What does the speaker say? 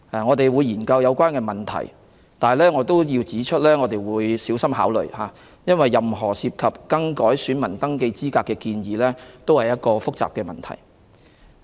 我們會研究有關問題，但我亦要指出，我們會小心考慮，因為任何改變選民登記資格的建議都涉及複雜的問題。